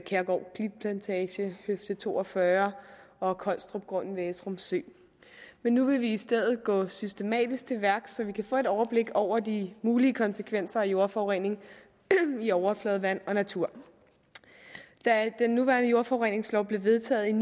kærgård klitplantage høfde to og fyrre og collstropgrunden ved esrum sø nu vil vi i stedet gå systematisk til værks så vi kan få overblik over de mulige konsekvenser af jordforurening i overfladevand og natur da den nuværende jordforureningslov blev vedtaget